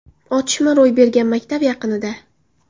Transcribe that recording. Otishma ro‘y bergan maktab yaqinida.